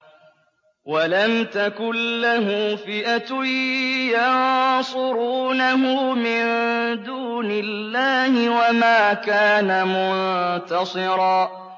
وَلَمْ تَكُن لَّهُ فِئَةٌ يَنصُرُونَهُ مِن دُونِ اللَّهِ وَمَا كَانَ مُنتَصِرًا